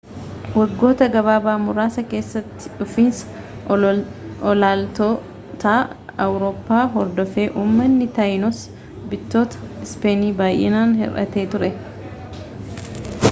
waggoota gabaabaa muraasa keessattidhufiinsa aloolattoota awurooppaa hordofee uummanni tayinosi bittoota ispeenin baay'inaan hir'atee ture